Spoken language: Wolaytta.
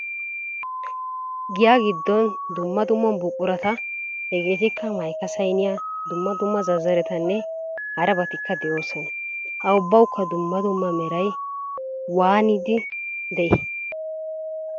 Giyaa giddon dumma dumma buqurata hegeetikka mayika, sayiniya dumma dumma zazzaretanne harabatikka de'oosona. Ha ubbawukka dumma dumma meray waanidi de'ii?